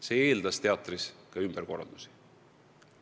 See eeldas teatris ka ümberkorraldusi.